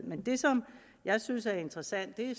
men det som jeg synes er interessant ved